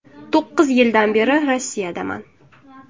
To‘qqiz yildan beri Rossiyadaman.